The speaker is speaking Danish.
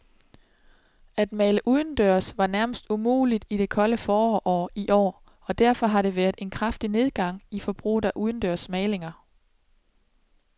At male udendørs var nærmest umuligt i det kolde forår i år, og derfor har der været en kraftig nedgang i forbruget af udendørs malinger.